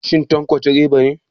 Shin Tanko direba ne?